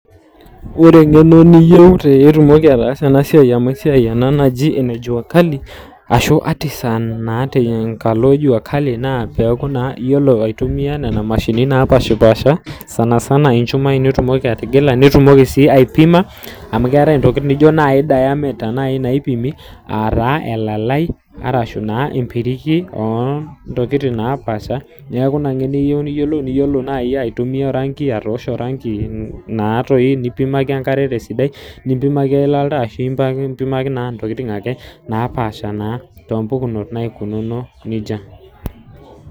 Wore engeno niyieu pee itumoki ataasa enasiai amu esiai ena naji ene jua kali ashu artisan naa tenkalo jua kali, naa peeku naa iyiolo aitumia niana mashinini napashpaasha, sanisana inchumai tenitumoki atigili, nitumoki sii aipima, amu keetae intokitin nijo naai diameter naai naipimi, aa taa elalai, arashu naa empiriki oo ntokitin naapaasha, neeku inia ngeno iyieu niyiolou, niyiolo naai aitumia oranki atoosho oranki natoi, nimpimaki enkare tesidai, nimpimaki eilata oltaa ashu impimaki naa intokitin ake naapaasha naa toompukunot naikununo nejia.